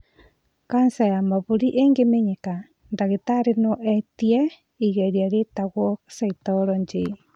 Kanja ya mahũri ĩngĩmenyeka, ndagĩtarĩ no etie igeria rĩtagwo cytology